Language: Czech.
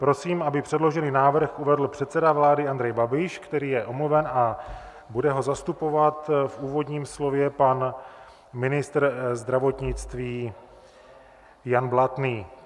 Prosím, aby předložený návrh uvedl předseda vlády Andrej Babiš, který je omluven, a bude ho zastupovat v úvodním slově pan ministr zdravotnictví Jan Blatný.